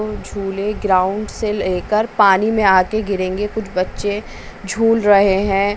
झूले ग्राउंड से लेकर पानी में आकर गिरेंगे कुछ बच्चे झूल रहे हैं।